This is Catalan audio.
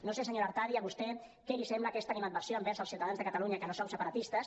no sé senyora artadi a vostè què li sembla aquesta animadversió envers els ciutadans de catalunya que no som separatistes